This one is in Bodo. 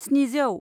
स्निजौ